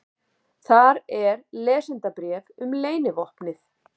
Þar er lesendabréf um leynivopnið.